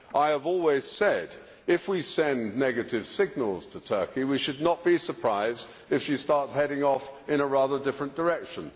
I have always said that, if we send negative signals to Turkey, we should not be surprised if she starts heading off in a rather different direction.